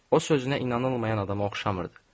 O sözünə inanılmayan adama oxşamırdı.